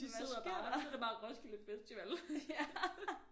Hvad sker der og så er det bare Roskilde Festival